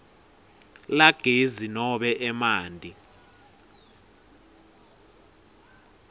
lagezi nobe emanti